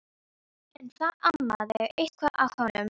En það amaði eitthvað að honum.